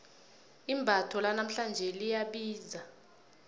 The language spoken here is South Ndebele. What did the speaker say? imbatho lanamhlanje liyabiza